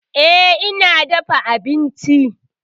E, ni na dafa abincin.